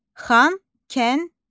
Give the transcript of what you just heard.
Xankəndi.